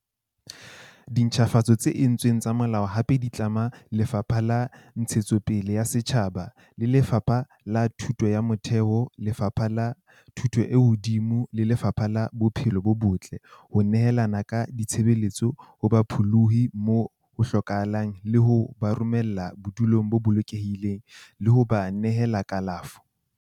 Dintjhafatso tse entsweng tsa molao hape di tlama Lefapha la Ntshetsopele ya Setjhaba, Lefapha la Thuto ya Motheo, Lefapha la Thuto e Hodimo le Lefapha la Bophelo bo Botle ho nehelana ka ditshebeletso ho bapholohi moo ho hlokahalang le ho ba romela bodulong bo bolokehileng le ho ba nehela kalafo.